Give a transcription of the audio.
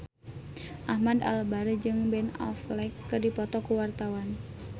Ahmad Albar jeung Ben Affleck keur dipoto ku wartawan